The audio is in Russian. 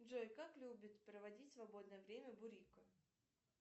джой как любит проводить свободное время бурико